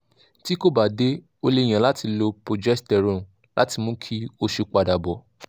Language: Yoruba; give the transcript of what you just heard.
tí kò bá dé o lè yan láti lo progesterone láti mú kí oṣù padà bọ̀